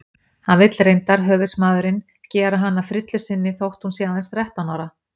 Hann vill reyndar, höfuðsmaðurinn, gera hana að frillu sinni þótt hún sé aðeins þrettán ára.